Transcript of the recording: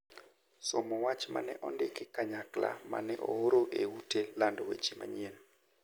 somo wach ma ne ondiki kanyakla ma ne ooro e ute lando weche machien.